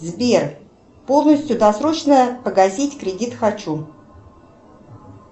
сбер полностью досрочно погасить кредит хочу